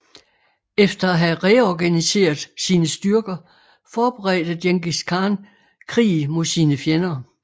Efter at have reorganiseret sine styrker forberedte Djengis Khan krig mod sine fjender